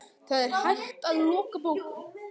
Það er hægt að loka bókum.